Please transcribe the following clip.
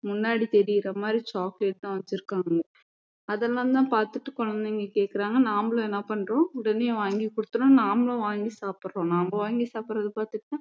முன்னாடி தெரியுற மாதிரி chocolate தான் வச்சிருக்காங்க அதெல்லாம் தான் பாத்துட்டு குழந்தைங்க கேக்குறாங்க நம்மளும் என்ன பண்றோம் உடனே வாங்கி கொடுத்துடுறோம் நம்மளும் வாங்கி சாப்பிடுறோம் நாம வாங்கி சாப்பிடுறதை பார்த்துட்டு தான்